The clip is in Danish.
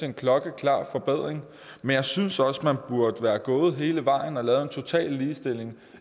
en klokkeklar forbedring men jeg synes også man burde være gået hele vejen og lavet en total ligestilling